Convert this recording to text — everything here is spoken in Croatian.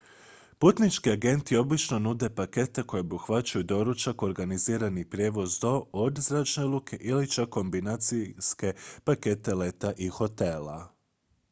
putnički agenti obično nude pakete koji obuhvaćaju doručak organizirani prijevoz do/od zračne luke ili čak kombinacijske pakete leta i hotela